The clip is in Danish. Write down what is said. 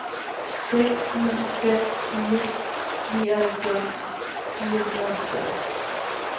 seks ni fem fire nioghalvfjerds fire hundrede og tre